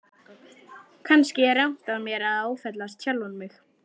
Kannski er rangt af mér að áfellast sjálfan mig.